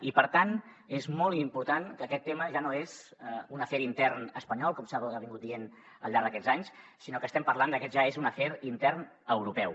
i per tant és molt important que aquest tema ja no és un afer intern espanyol com s’ha dit al llarg d’aquests anys sinó que estem parlant que aquest ja és un afer intern europeu